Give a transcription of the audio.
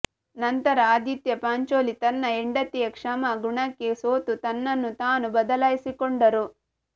ನಂತರ ಆದಿತ್ಯ ಪಾಂಚೋಲಿ ತನ್ನ ಹೆಂಡತಿಯ ಕ್ಷಮಾ ಗುಣಕ್ಕೆ ಸೋತು ತನ್ನ ನ್ನು ತಾನು ಬದಲಾಯಿಸಿಕೊಂಡರು